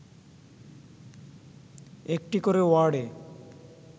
একটি করে ওয়ার্ডে